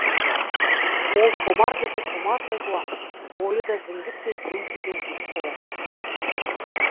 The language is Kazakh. ол томар десе томардай жуан бойы да зіңгіттей дүңкиген жігіт болатын